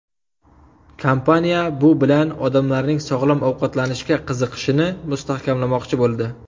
Kompaniya bu bilan odamlarning sog‘lom ovqatlanishga qiziqishini mustahkamlamoqchi bo‘ldi.